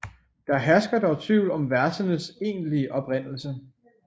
Der hersker dog tvivl om versenes egentlige oprindelse